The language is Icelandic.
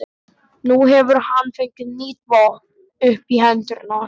Nú hefur hann fengið nýtt vopn upp í hendurnar.